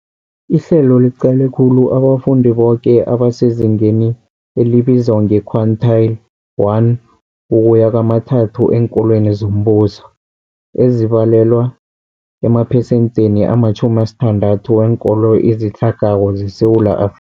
Ihlelo liqale khulu abafundi boke abasezingeni elibizwa nge-quintile 1-3 eenkolweni zombuso, ezibalelwa emaphesentheni ama-60 weenkolo ezitlhagako zeSewula Afrika.